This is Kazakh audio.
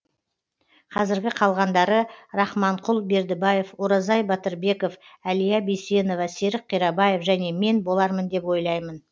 қазіргі қалғандары рахманқұл бердібаев оразай батырбеков әлия бейсенова серік қирабаев және мен болармын деп ойлаймын